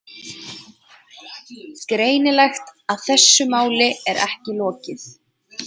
Greinilegt að þessu máli er ekki lokið.